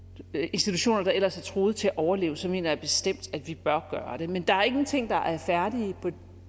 institutioner der ellers er truet til at overleve så mener jeg bestemt at vi bør gøre det men der er ikke nogen ting der er færdige på